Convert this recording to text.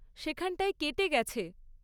সেখানটায় কেটে গেছে।